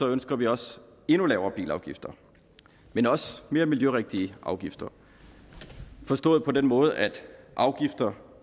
ønsker vi også endnu lavere bilafgifter men også mere miljørigtige afgifter forstået på den måde at afgifterne